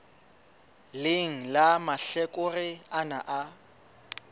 leng la mahlakore ana a